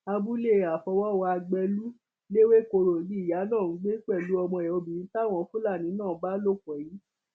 abúlé àfọwọwá gbẹlú lẹwẹkọrọ ni ìyá náà ń gbé pẹlú ọmọ ẹ obìnrin táwọn fúlàní náà bá lò pọ yìí